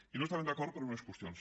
i no hi estàvem d’acord per unes qüestions